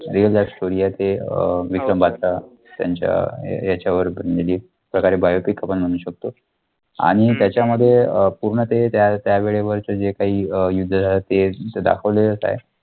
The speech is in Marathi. real life story आहे ते अं विक्रम बद्रा त्यांच्या याच्यावर बनलेली आहे. आपल्याकडे biopic म्हणू शकतो आणि त्याच्यामध्ये अं पूर्ण ते त्या त्यावेळेवरच्या जे काही युद्ध आहे ते दाखवलेलंचं आहे.